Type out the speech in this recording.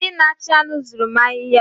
Ndị na-achị anụ zuru m ahịhịa.